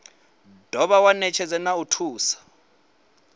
dovha wa netshedza na thuso